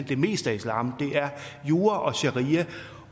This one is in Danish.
det meste af islam er jura og sharia